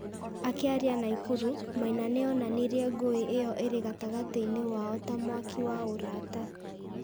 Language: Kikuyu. Akĩaria Naikuru, Maina nĩ onanirie ngũĩ ĩyo ĩrĩ gatagatĩ-inĩ wao ta "mwaki wa ũrata".